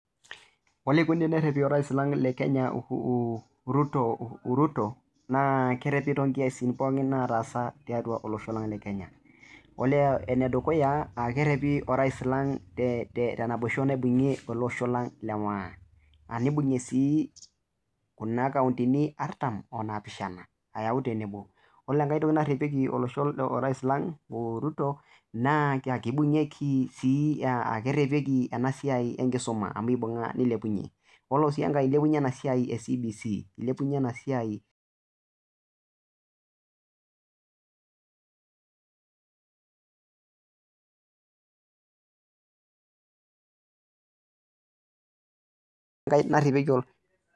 oleikoni tenerepi orais lang le kenya uu ruto ruto naa kerepi to nkiasin pookin nataasa tiatua olosho lang kenya, dolita ene dukuya kerepi orais lang te te naboisho naibung'ie ele osho lang le maa, nibung'ie sii kuna kaontini artam o naapishana ayau tenebo, ore enkae toki narepieki olosho orais lang ruto naa kebung'ieki sii, kerepieki ena siai enkisuma amu eibung'a neilepunye, yiolo sii enkae ilepunye ena siai e cbc ilepunye ena siai.